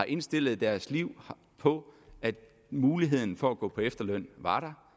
indstillet deres liv på at muligheden for at gå på efterløn var der